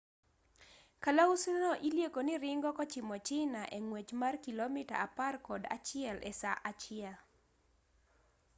kalausi no ilieko ni ringo kochimo china e ng'wech mar kilomita apar kod achiel e saa achiel